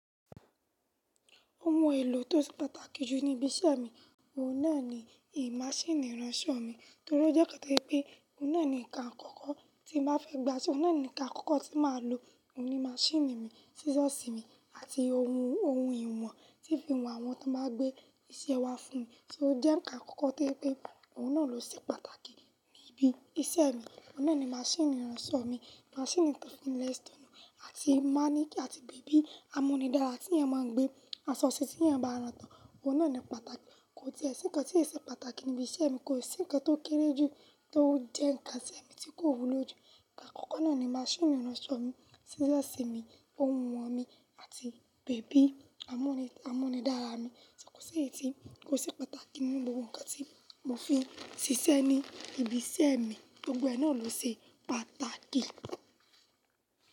Ohun èlò tó ṣe pàtàkì jù ní ibi iṣẹ́ mi, òun náà ni ì-máṣíìnì ìránṣọ mi. Nítorí ó jẹ́ nkan to je wipé, òun náà ni ǹkan àkọ́kọ́ tí n bá fẹ́ gba aso, òun náà ni ǹkan àkọ́kọ́ tí màá lò, òun ni máṣíìnì mi, sísọ̀sì mi àti ohun ohun ìwọ̀n tí ì fi wọn àwọn tí wọn bá gbé iṣẹ́ wá fún mi. So o jẹ́ ǹkan àkọ́kọ́ to je pe, òun náà ló ṣe pàtàkì ní ibi iṣẹ́ mi. Òun náà ni máṣíìnì ìránṣọ mi, máṣíìnì ton fi n le stay àti máníkì àti bèbí amúnidára tí èèyàn máa ń gbé aṣọ si tí èèyàn bá rán tán. Òun náà ni pàtàkì, kò tíẹ̀ sì kan tí yóò ṣe pàtàkì ní ibi iṣẹ́ mi, kò sí ǹkan tó kéré jù tó ń jẹ́ ǹkan tí èmi tí kò wúlò jù. Ǹkan àkọ́kọ́ náà ni máṣíìnì ìránṣọ mi, sísọ̀sì mi, ohun ìwọ̀n mi àti bèbí amúnidára mi. Kò sí èyí tí, kò ṣe pàtàkì nínú gbogbo ǹkan tí mò fi ń ṣiṣẹ́ ní ibi iṣẹ́ mi. Gbogbo ẹ̀ náà ló se pàtàkì.